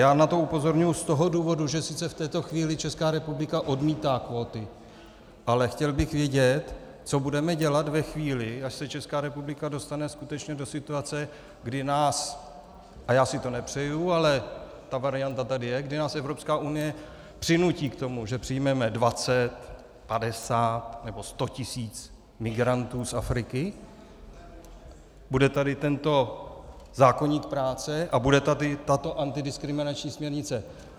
Já na to upozorňuji z toho důvodu, že sice v této chvíli Česká republika odmítá kvóty, ale chtěl bych vědět, co budeme dělat ve chvíli, až se Česká republika dostane skutečně do situace, kdy nás - a já si to nepřeju, ale ta varianta tady je - kdy nás Evropská unie přinutí k tomu, že přijmeme 20, 50 nebo 100 tisíc migrantů z Afriky, bude tady tento zákoník práce a bude tady tato antidiskriminační směrnice.